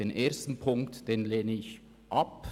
– Ziffer 1 lehne ich ab;